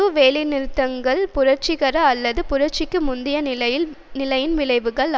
வேலைநிறுத்தங்கள் புரட்சிகர அல்லது புரட்சிக்கு முந்தைய நிலையின் விளைவுகள் ஆகும்